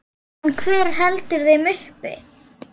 En hver heldur þeim uppi?